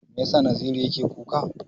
Me yasa Naziru yake kuka?